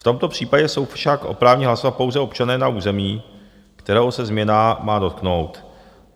V tomto případě jsou však oprávněni hlasovat pouze občané na území, kterého se změna má dotknout.